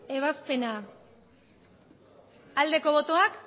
ebazpena aldeko botoak